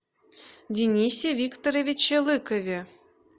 денисе викторовиче лыкове